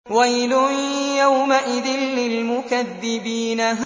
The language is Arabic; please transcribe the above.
وَيْلٌ يَوْمَئِذٍ لِّلْمُكَذِّبِينَ